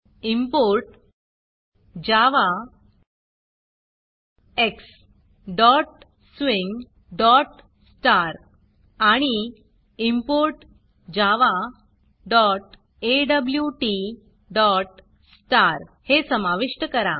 import javaxswing आणि import javaawt हे समाविष्ट करा